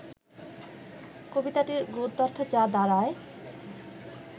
কবিতাটির গদ্যার্থ যা দাঁড়ায়